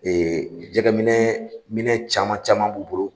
Ee jɛgɛ minɛ minɛn caman caman b'u bolo.